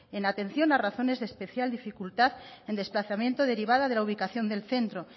en atención a razones de especial dificultad en desplazamiento derivada de la ubicación del centro